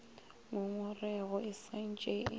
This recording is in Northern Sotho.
ngongorego e sa ntše e